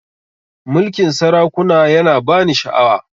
Mulkin sarakuna ya na ba ni sha'awa